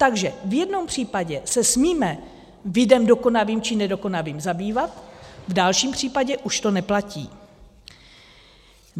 Takže v jednou případě se smíme videm dokonavým či nedokonavým zabývat, v dalším případě už to neplatí.